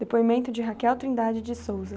Depoimento de